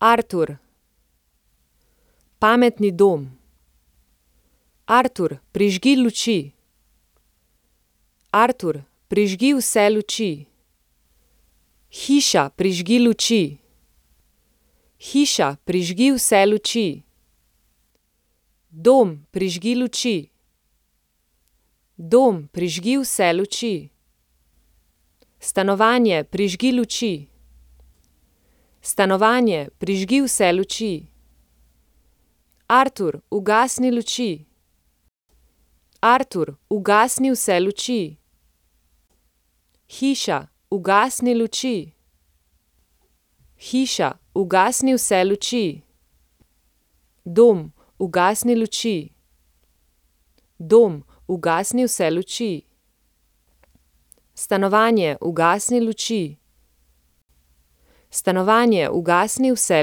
Artur. Pametni dom. Artur, prižgi luči. Artur, prižgi vse luči. Hiša, prižgi luči. Hiša, prižgi vse luči. Dom, prižgi luči. Dom, prižgi vse luči. Stanovanje, prižgi luči. Stanovanje, prižgi vse luči. Artur, ugasni luči. Artur, ugasni vse luči. Hiša, ugasni luči. Hiša, ugasni vse luči. Dom, ugasni luči. Dom, ugasni vse luči. Stanovanje, ugasni luči. Stanovanje, ugasni vse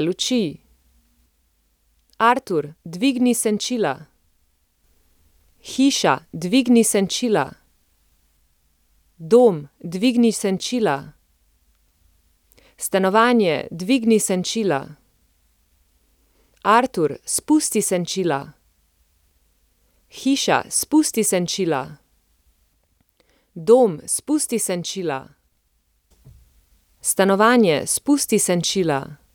luči. Artur, dvigni senčila. Hiša, dvigni senčila. Dom, dvigni senčila. Stanovanje, dvigni senčila. Artur, spusti senčila. Hiša, spusti senčila. Dom, spusti senčila. Stanovanje, spusti senčila.